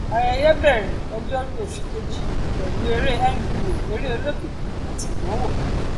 ayẹyẹ bẹrẹ ọjọrú oṣù kejì pẹlú eré nba eré olókìkí àti ìdánwò